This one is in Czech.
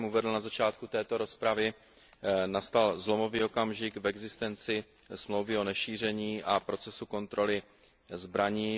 Jak jsem uvedl na začátku této rozpravy, začal zlomový okamžik v existenci Smlouvy o nešíření a procesu kontroly zbraní.